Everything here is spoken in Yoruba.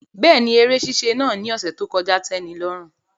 Bẹẹni, ere ṣiṣe naa ni ọsẹ to kọja n tẹnilọrun